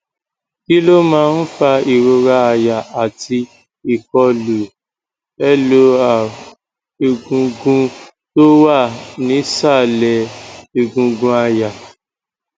kí ló máa ń fa ìrora àyà àti ìkọlu lor egungun tó wà nísàlẹ egungun aya